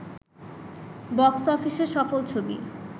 box অফিসে সফল ছবি